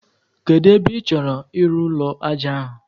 Kedụ ebe ị chọrọ ịrụ ụlọ ájá ahụ?